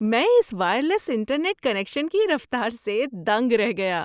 میں اس wireless internet connection کی رفتار سے دنگ رہ گیا۔